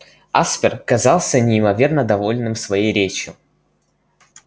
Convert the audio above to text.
аспер казался неимоверно довольным своей речью